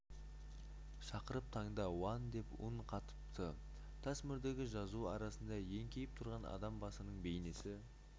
шақырып таңда уан деп үн қатыпты тас мөрдегі жазу арасында еңкейіп тұрған адам басының бейнесі